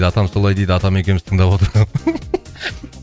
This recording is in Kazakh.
атам солай дейді атам екеуміз тыңдап